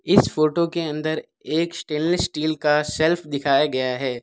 इस फोटो के अंदर एक स्टेनलेस स्टील का शेल्फ दिखाया गया है।